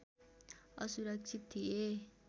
असुरक्षित थिए